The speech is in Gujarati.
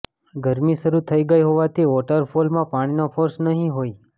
ગરમી શરુ થઇ ગઇ હોવાથી વોટરફોલમાં પાણીનો ફોર્સ નહીં હોય